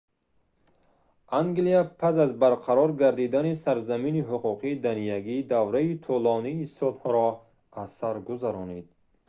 англия пас аз барқарор гардидани сарзамини ҳуқуқи даниягӣ давраи тӯлонии сулҳро аз сар гузаронид